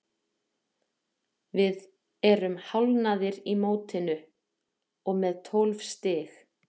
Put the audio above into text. Við erum hálfnaðir í mótinu og með tólf stig.